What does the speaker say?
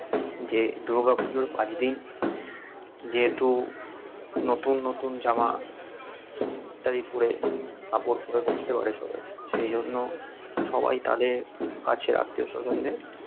যে দূর্গা পুজোর পাঁচ দিন যেহেতু নতুন নতুন জামা ইত্যাদি পরে কাপড় পরে ঘুরতে বেরোয় সবাই সেইজন্য সবাই তাদের কাছের আত্মীয় স্বজনদের